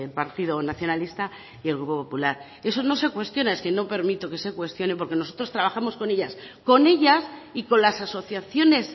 partido nacionalista y el grupo popular eso no se cuestiona es que no permito que se cuestione porque nosotros trabajamos con ellas con ellas y con las asociaciones